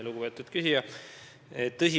Lugupeetud küsija!